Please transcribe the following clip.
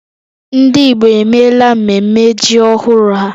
Ndị Igbo emela mmemme ji ọhụrụ ha